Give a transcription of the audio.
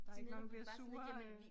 Der ikke nogen der bliver sure øh